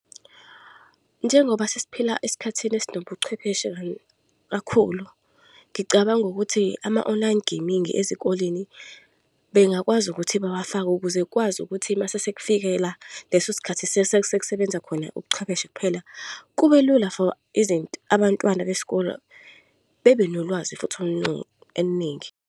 Njengoba sesiphila esikhathini esinobuchwepheshe kakhulu, ngicabanga ukuthi ama-online gaming ezikoleni bengakwazi ukuthi bawafake ukuze kukwazi ukuthi masese kufikela leso sikhathi sekusebenza khona ubuchwepheshe kuphela, kube lula for abantwana besikole, bebe nolwazi futhi oluningi.